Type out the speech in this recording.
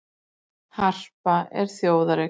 Harpa er þjóðareign